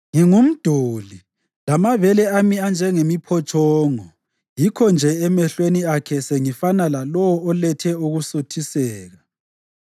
Ngingumduli, lamabele ami anjengemiphotshongo. Yikho-nje emehlweni akhe sengifana lalowo olethe ukusuthiseka.